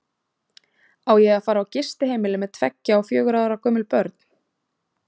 Á ég að fara á gistiheimili með tveggja og fjögurra ára gömul börn?